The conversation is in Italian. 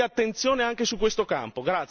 Quindi attenzione anche su questo campo.